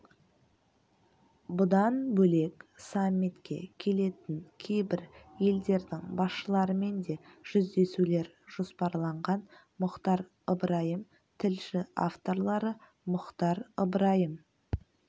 бұдан бөлек саммитке келетін кейбір елдердің басшыларымен де жүздесулер жоспарланған мұхтар ыбырайым тілші авторлары мұхтар ыбырайым